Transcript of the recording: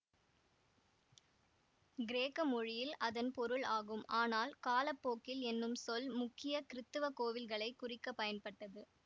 கிரேக்க மொழியில் அதன் பொருள் ஆகும் ஆனால் காலப்போக்கில் என்னும் சொல் முக்கிய கிறித்தவ கோவில்களை குறிக்க பயன்பட்டது